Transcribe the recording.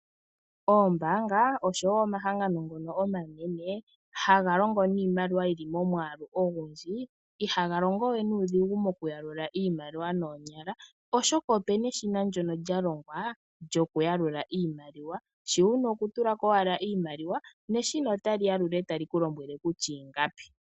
Oombaanga osho wo omahangano ngono omanene, haga longo nimaliwa yili momwaalu ogundji, ihaga longo we nuudhigu moku yalula iimaliwa noonyala. Oshoka opena eshina lyono lya longwa lyoku yalula iimaliwa. Shi wuna okutulako owala iimaliwa, neshina otali yalula etali ku lombwele kutya ingapi.